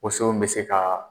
Woso bɛ se ka